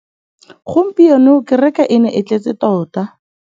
Gompieno kêrêkê e ne e tletse tota.